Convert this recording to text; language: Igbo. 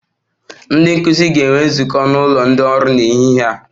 Ndị nkụzi ga-enwe nzukọ n'ụlọ ndị ọrụ n'ehihie a